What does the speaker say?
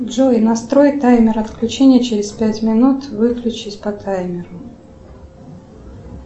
джой настрой таймер отключения через пять минут выключись по таймеру